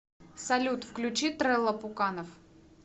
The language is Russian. салют включи трэлла пуканов